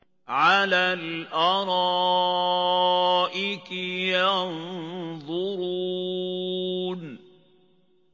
عَلَى الْأَرَائِكِ يَنظُرُونَ